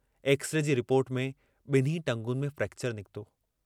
X-ray जी report में ॿिन्ही टंगुनि में फ्रेक्चर निकितो।